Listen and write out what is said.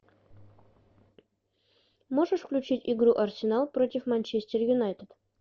можешь включить игру арсенал против манчестер юнайтед